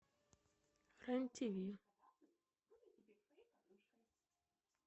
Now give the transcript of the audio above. рен тв